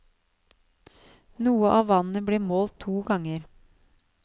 Noe av vannet ble målt to ganger.